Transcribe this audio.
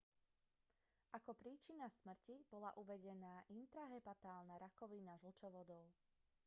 ako príčina smrti bola uvedená intrahepatálna rakovina žlčovodov